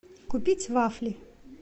купить вафли